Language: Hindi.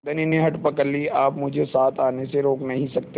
धनी ने हठ पकड़ ली आप मुझे साथ आने से रोक नहीं सकते